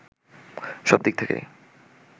সব দিক থেকেই